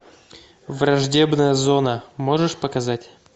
враждебная зона можешь показать